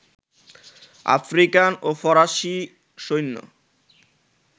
African ও ফরাসী সৈন্য